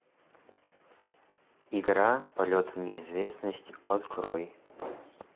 игра полет в неизвестность открой